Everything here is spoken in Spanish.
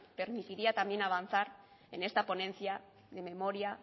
permitiría también avanzar en esta ponencia de memoria